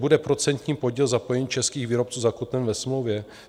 Bude procentní podíl zapojení českých výrobců zakotven ve smlouvě?